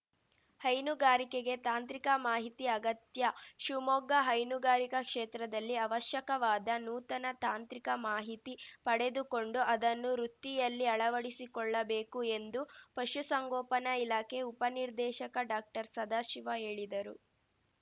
ಹೈನುಗಾರಿಕೆಗೆ ತಾಂತ್ರಿಕ ಮಾಹಿತಿ ಅಗತ್ಯ ಶಿವಮೊಗ್ಗ ಹೈನುಗಾರಿಕಾ ಕ್ಷೇತ್ರದಲ್ಲಿ ಅವಶ್ಯಕವಾದ ನೂತನ ತಾಂತ್ರಿಕ ಮಾಹಿತಿ ಪಡೆದುಕೊಂಡು ಅದನ್ನು ವೃತ್ತಿಯಲ್ಲಿ ಅಳವಡಿಸಿಕೊಳ್ಳಬೇಕು ಎಂದು ಪಶುಸಂಗೋಪನಾ ಇಲಾಖೆ ಉಪನಿರ್ದೇಶಕ ಡಾಕ್ಟರ್ಸದಾಶಿವ ಹೇಳಿದರು